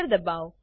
દબાવો